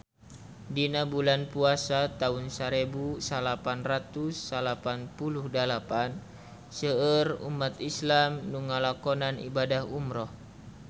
Dina bulan Puasa taun sarebu salapan ratus salapan puluh dalapan seueur umat islam nu ngalakonan ibadah umrah